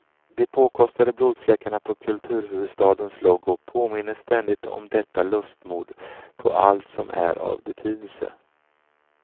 De påkostade blodfläckarna på kulturhuvudstadens logo påminner ständigt om detta lustmord på allt som är av betydelse.